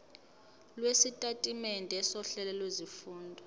lwesitatimende sohlelo lwezifundo